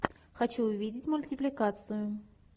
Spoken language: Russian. хочу увидеть мультипликацию